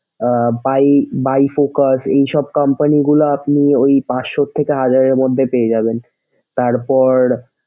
Ah by by focus এসব company গুলা আপনি ঐ পাঁচশো থেকে হাজারের মধ্যে পেয়ে যাবেন।